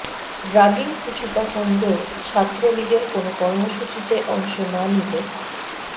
ragging কিছুটা কমলেও ছাত্রলীগের কোনো কর্মসূচিতে অংশ না নিলে